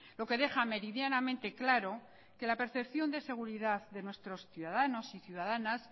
lo que deja meridianamente claro que la percepción de seguridad de nuestros ciudadanos y ciudadanas